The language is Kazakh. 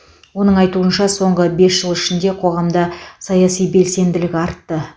оның айтуынша соңғы бес жыл ішінде қоғамда саяси белсенділік артты